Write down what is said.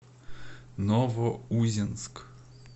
новоузенск